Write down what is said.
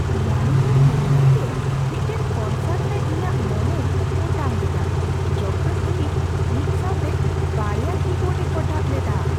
ᱤᱭᱟᱱᱤ ᱫᱚ ᱪᱮᱱᱱᱟᱭ ᱨᱮ ᱢᱤᱫᱴᱟᱝ ᱠᱚᱱᱥᱟᱨᱴ ᱨᱮ ᱤᱧᱟᱹᱜ ᱢᱚᱱᱮᱭ ᱚᱴᱟᱝ ᱞᱮᱫᱟ ᱡᱚᱠᱷᱮᱡ ᱩᱱᱤ ᱢᱤᱫ ᱥᱟᱣᱛᱮ ᱒ᱭᱟ ᱠᱤ ᱵᱳᱨᱰᱼᱮ ᱠᱚᱴᱟᱵ ᱞᱮᱫᱟ ᱾